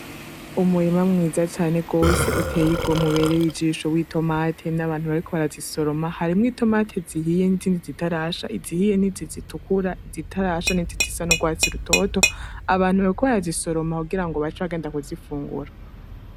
Umurima mwiza cane gose, uteye igomwe ubereye ijisho w'itomati ,n'abantu bariko barasoroma, harimwo itomate zihiye n'izindi zitarasha , izihiye n'iziz zitukura, izitarasha n'izi zisa n'urwatsi rutoto ,abantu bariko barazisoroma kugirango bace bagenda kuzifungura.